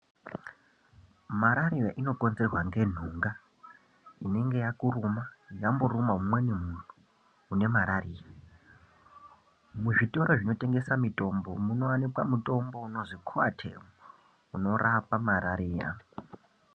Marariya inokonzerwa ngentunga inenge yakuruma yamborume umweni muntu une marariya. Muzvitoro zvinotengesa mitombo munowanikwa mutombo unonzi koatemu unorapa marariya.